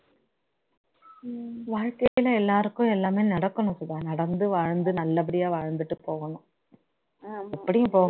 வாழ்க்கையில எல்லாருக்கும் எல்லாமே நடக்கணும் சுதா நடந்து வாழ்ந்து நல்லபடியா வாழ்ந்துட்டு போகணும் அப்படியும்